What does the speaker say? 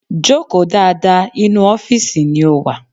Joko dáadáa, inú ọ́fìsì ni o wà!